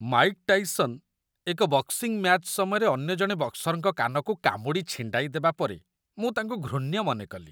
Mike Tyson ଏକ boxing match ସମୟରେ ଅନ୍ୟ ଜଣେ ବକ୍ସର୍‌ଙ୍କ କାନକୁ କାମୁଡ଼ି ଛିଣ୍ଡାଇ ଦେବା ପରେ ମୁଁ ତାଙ୍କୁ ଘୃଣ୍ୟ ମନେ କଲି।